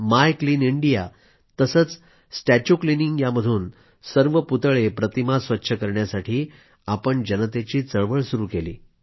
माय clean India तसंच statue cleaning यामधून सर्व पुतळेप्रतिमा स्वच्छ करण्यासाठी जनतेची चळवळ सुरू केली